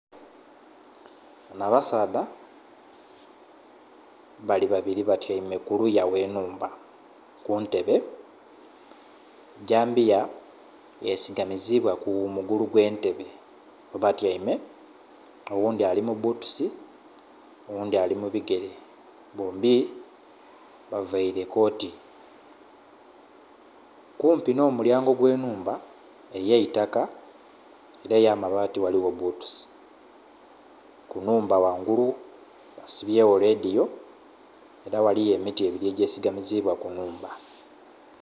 Banho abasaadha bali babiri batyaime kuluya ghenhumba kuntebe, gyambiya yesigamizibwa kumugolu gwentebe kwebatyaime oghundhi ali mubbutusi, oghundhi ali mubigere bombi baveire koti. Kumpi nh'omulyango ogwenhumba eyaitaka era eyambaati ghaligho bbutusi, kunhumba ghangulu basibyegho ledhiyo era ghaligho emiti ebiri egyesigamizibwa kunhumba.